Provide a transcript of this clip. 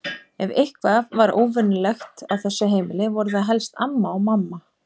Ef eitthvað var venjulegt á þessu heimili voru það helst amma og mamma.